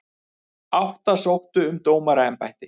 Það fyrsta sem líkaminn nýtir sér eru sykrurnar.